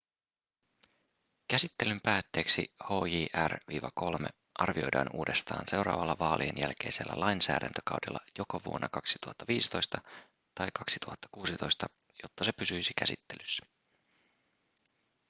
käsittelyn päätteeksi hjr-3 arvioidaan uudestaan seuraavalla vaalien jälkeisellä lainsäädäntökaudella joko vuonna 2015 tai 2016 jotta se pysyisi käsittelyssä